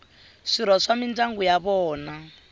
swirho swa mindyangu ya vona